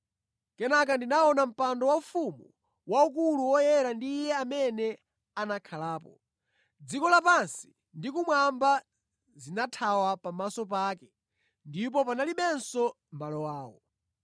Kenaka ndinaona Mpando Waufumu waukulu woyera ndi Iye amene anakhalapo. Dziko lapansi ndi kumwamba zinathawa pamaso pake ndipo panalibenso malo awo.